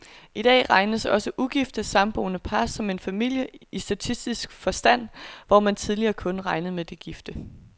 I dag regnes også ugifte, samboende par som en familie i statistisk forstand, hvor man tidligere kun regnede med de gifte.